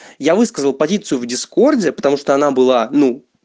я высказал позицию в дискорде потому что она была ну